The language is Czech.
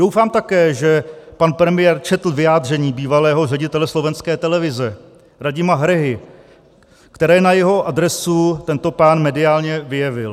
Doufám také, že pan premiér četl vyjádření bývalého ředitele slovenské televize Radima Hrehy, které na jeho adresu tento pán mediálně vyjevil.